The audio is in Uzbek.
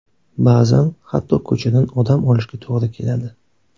Ba’zan hatto ko‘chadan odam olishga to‘g‘ri keladi.